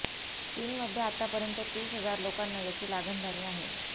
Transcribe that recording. चीनमध्ये आत्तापर्यंत तीस हजार लोकांना याची लागण झाली आहे